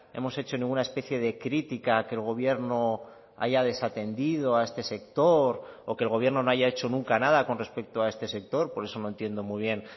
hemos hecho ninguna especie de crítica que el gobierno haya desatendido a este sector o que el gobierno no haya hecho nunca nada con respecto a este sector por eso no entiendo muy bien